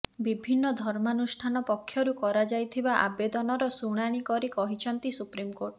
ବିଭିନ୍ନ ଧର୍ମାନୁଷ୍ଠାନ ପକ୍ଷରୁ କରାଯାଇଥିବା ଆବେଦନର ଶୁଣାଣି କରି କହିଛନ୍ତି ସୁପ୍ରିମକୋର୍ଟ